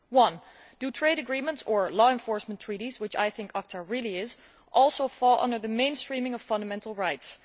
Firstly, do trade agreements or law enforcement treaties which I think ACTA really is also fall under the mainstreaming of fundamental rights?